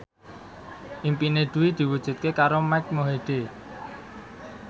impine Dwi diwujudke karo Mike Mohede